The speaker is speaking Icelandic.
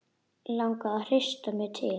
Langar að hrista mig til.